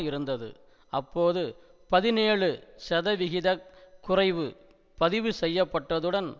இருந்தது அப்போது பதினேழு சதவிகித குறைவு பதிவுசெய்யப்பட்டதுடன்